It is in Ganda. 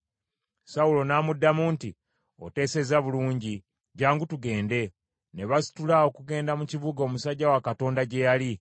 Sawulo n’amuddamu nti, “Oteesezza bulungi, jjangu tugende.” Ne basitula okugenda mu kibuga omusajja wa Katonda gye yali.